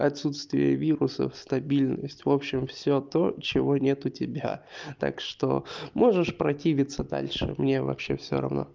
отсутствие вирусов стабильность в общем всё то чего нет у тебя так что можешь противиться дальше мне вообще всё равно